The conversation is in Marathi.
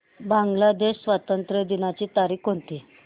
बांग्लादेश स्वातंत्र्य दिनाची तारीख कोणती